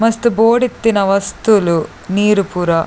ಮಸ್ತ್ ಬೋಡಿತ್ತಿನ ವಸ್ತುಲು ನೀರ್ ಪೂರ.